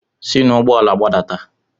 Si n'ụgbọ ala gbadata!